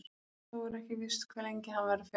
Þó er ekki víst hve lengi hann verður fjarri.